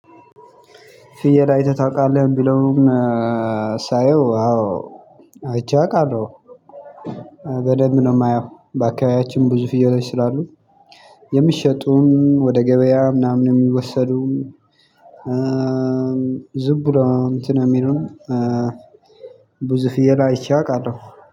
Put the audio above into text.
ፍየል አይተህ ታውቃለህ ብለውን ሳየው አዎ አይቼ አውቃለሁ። በደንብ ነው የማየው በአካባቢያችን ብዙ ፍየሎች ስላሉ፣ የሚሸጡም፣ ወደ ገበያ ምናምን የሚወሰዱ ዝም ብሎ እንትን የሚሉን ብዙ ፍየል አይቼ አውቃለሁ።